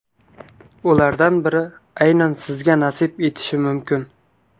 Ulardan biri aynan sizga nasib etishi mumkin.